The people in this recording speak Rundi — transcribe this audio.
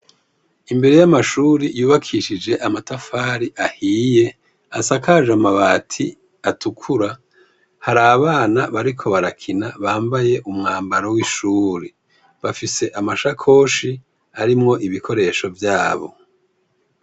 Imbere y' amashuri yibakishije amatafari ahiye, asakaje amabati atukura , harabana bariko barakina bambaye umwambaro w' ishuri, bafise amashakoshi arimwo ibikoresho vyabo.